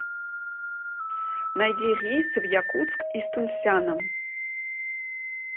найди рейсы в якутск из тунсяна